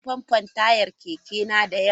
Zan yi famfo taya kekena da yamma.